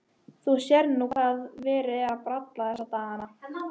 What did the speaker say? Þú sérð nú hvað verið er að bralla þessa dagana.